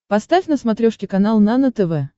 поставь на смотрешке канал нано тв